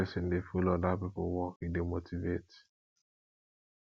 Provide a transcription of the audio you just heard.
wen person dey follow oda pipo work e dey motivate